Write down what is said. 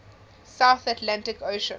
south atlantic ocean